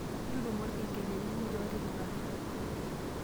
ntutumo ilkengeleni muuj otipikaki